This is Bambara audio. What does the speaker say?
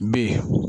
Be yen